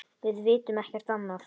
Við vitum ekkert annað.